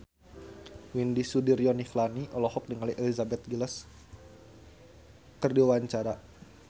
Widy Soediro Nichlany olohok ningali Elizabeth Gillies keur diwawancara